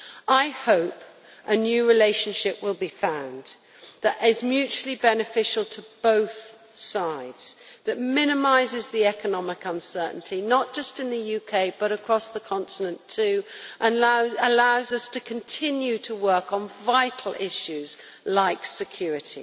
I hope a new relationship will be found that is mutually beneficial to both sides, that minimises the economic uncertainty not just in the UK, but across the continent too and allows us to continue to work on vital issues like security.